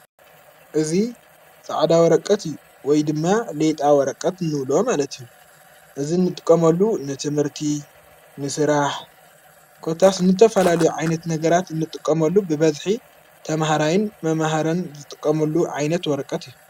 እዙ ፃዕዳ ወረቀት እዩ ወይ ድማ ሌጣ ወረቀት ንውሎ ማለት ዩ እዝ እንጥቆመሉ ንትምህርቲ ምስራህ ኮታስ ንተፋላሉ ዓይነት ነገራት እንጥቆመሉ ብበድሒ ተምህራይን መምህረን ዘጥቀመሉ ዓይነት ወረቀት እዩ።